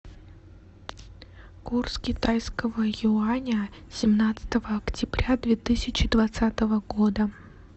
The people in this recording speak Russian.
курс китайского юаня семнадцатого октября две тысячи двадцатого года